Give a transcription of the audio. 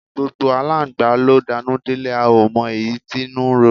Gbógbó àlángba lo danú delẹ, a o mo eyi tí inú rún